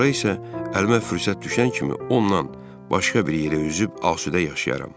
Sonra isə əlimə fürsət düşən kimi ondan başqa bir yerə üzüb asudə yaşayaram.